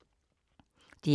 DR P3